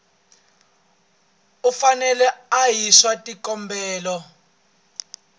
u fanele a yisa xikombelo